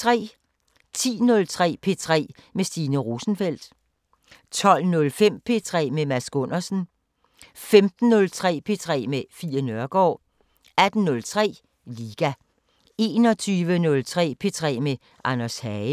10:03: P3 med Stine Rosenfeldt 12:05: P3 med Mads Gundersen 15:03: P3 med Fie Neergaard 18:03: Liga 21:03: P3 med Anders Hagen